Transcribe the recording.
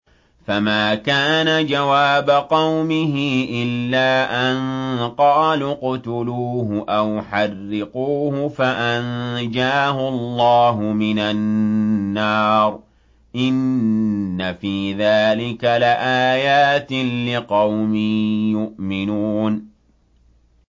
فَمَا كَانَ جَوَابَ قَوْمِهِ إِلَّا أَن قَالُوا اقْتُلُوهُ أَوْ حَرِّقُوهُ فَأَنجَاهُ اللَّهُ مِنَ النَّارِ ۚ إِنَّ فِي ذَٰلِكَ لَآيَاتٍ لِّقَوْمٍ يُؤْمِنُونَ